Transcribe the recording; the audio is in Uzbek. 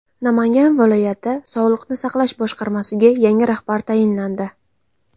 Namangan viloyati sog‘liqni saqlash boshqarmasiga yangi rahbar tayinlandi.